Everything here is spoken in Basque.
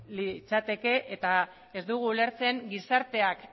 litzateke eta ez dugu ulertzen gizarteak